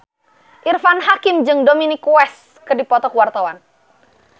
Irfan Hakim jeung Dominic West keur dipoto ku wartawan